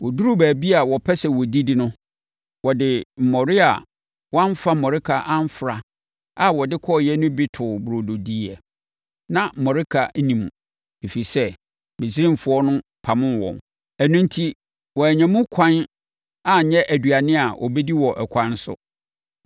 Wɔduruu baabi a wɔpɛ sɛ wɔdidi no, wɔde mmɔre a wɔamfa mmɔreka amfra a wɔde kɔeɛ no bi too burodo diiɛ. Na mmɔreka nni mu, ɛfiri sɛ, Misraimfoɔ no pamoo wɔn. Ɛno enti wɔannya mu ɛkwan anyɛ aduane a wɔbɛdi wɔ ɛkwan so.